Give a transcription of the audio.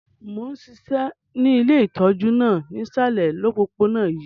Mo n ṣiṣẹ́ ni ile itọju náà nisalẹ̀ opopona yii.